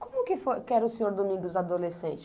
Como que foi que era o senhor Domingos adolescente?